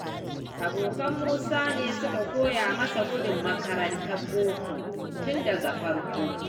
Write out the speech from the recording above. Abokan Musa ne suka koya masa gudun makarantar boko tun da farko.